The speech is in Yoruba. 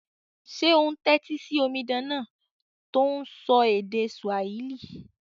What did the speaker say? Sé o n tẹ́tí si omidan náà to n sọ èdè Swahili?